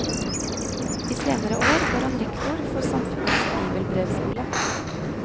I senere år var han rektor for samfunnets bibelbrevskole.